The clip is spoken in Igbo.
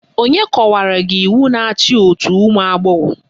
Onye kọwara gị iwu na-achị òtù ụmụagbọghọ?